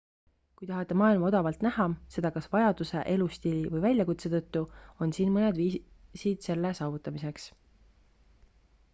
kui tahate maailma odavalt näha seda kas vajaduse elustiili või väljakutse tõttu on siin mõned viisid selle saavutamiseks